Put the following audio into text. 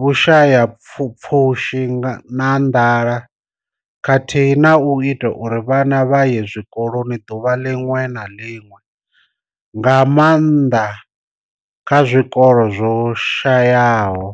vhushayapfushi na nḓala khathihi na u ita uri vhana vha ye tshikoloni ḓuvha ḽiṅwe na ḽiṅwe, nga maanḓa kha zwikolo zwo shayaho.